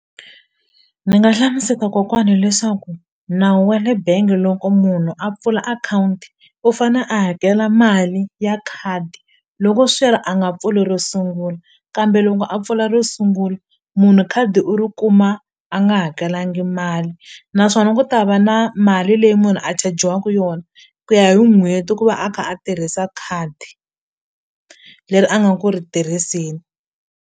Ni nga hlamuseta kokwani leswaku nawu wa le bengi loko munhu a pfula akhawunti u fane a hakela mali ya khadi loko swi ri a nga pfuli ro sungula kambe loko a pfula ro sungula munhu khadi u ri kuma a nga hakelangi mali naswona ku ta va na mali leyi munhu a chajiwaku yona ku ya hi n'hweti ku va a kha a tirhisa khadi leri a nga ku ri tirhiseni.